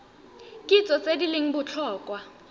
kitso tse di leng botlhokwa